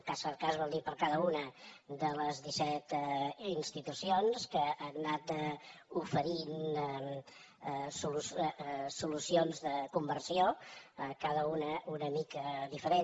cas per cas vol dir per cada una de les disset institucions que han anat oferint solucions de conversió cada una una mica diferent